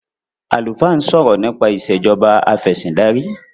alufaa n sọrọ nipa Ìṣèjọba Afẹ̀sìndarí